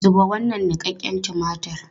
Zuba wannan niƙaƙƙen tumatir!